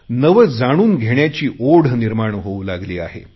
नवे जाणून घेण्याची ओढ निर्माण होऊ लागली आहे